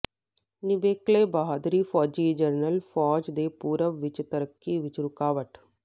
ਨਿਵੇਕਲੇ ਬਹਾਦਰੀ ਫੌਜੀ ਜਰਮਨ ਫ਼ੌਜ ਦੇ ਪੂਰਬ ਵਿੱਚ ਤਰੱਕੀ ਵਿਚ ਰੁਕਾਵਟ